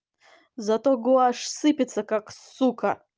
зато гуашь сыпется как сука